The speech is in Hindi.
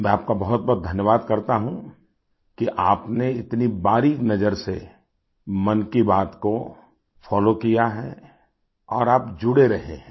मैं आपका बहुतबहुत धन्यवाद करता हूँ कि आपने इतनी बारीक नज़र से मन की बात को फोलो किया है और आप जुड़े रहेहैं